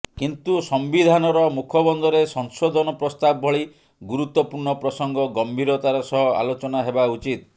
କିନ୍ତୁ ସମ୍ବିଧାନର ମୁଖବନ୍ଧରେ ସଂଶୋଧନ ପ୍ରସ୍ତାବ ଭଳି ଗୁରୁତ୍ୱପୂର୍ଣ୍ଣ ପ୍ରସଙ୍ଗ ଗମ୍ଭୀରତାର ସହ ଆଲୋଚନା ହେବା ଉଚିତ